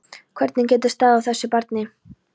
Hvernig getur staðið á þessu. barni?